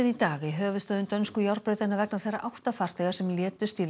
í dag í höfuðstöðvum dönsku járnbrautanna vegna þeirra átta farþega sem létust í